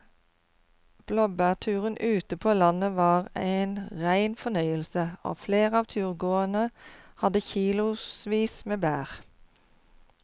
Blåbærturen ute på landet var en rein fornøyelse og flere av turgåerene hadde kilosvis med bær.